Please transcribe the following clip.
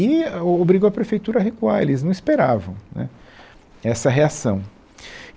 E o obrigou a prefeitura a recuar, eles não esperavam, né, essa reação.